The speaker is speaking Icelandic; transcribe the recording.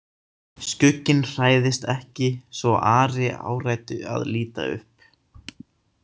Skugginn hrærðist ekki svo Ari áræddi að líta upp.